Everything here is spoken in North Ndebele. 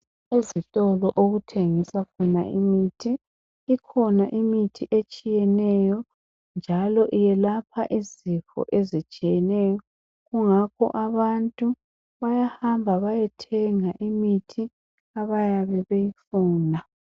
Ezitolo okuthengiswa khona imithi, ikhona imithi etshiyeneyo njalo iyelapha izifo ezitshiyeneyo, kungakho abantu bayahamba bayethenga imithi abayabe beyifuna